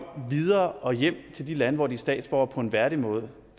videre og hjem til de lande hvor de er statsborgere på en værdig måde